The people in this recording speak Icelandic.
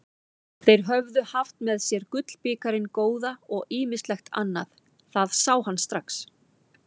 Þeir höfðu haft með sér gullbikarinn góða og ýmislegt annað, það sá hann strax.